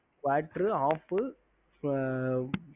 ஹம்